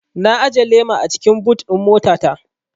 Na ajiye lema a cikin but ɗin mota ta